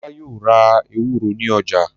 Ọlá yóò ra ewúro ní ọjà.